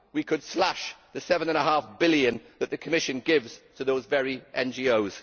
We could slash the EUR 7.5 billion that the Commission gives to those very NGOs.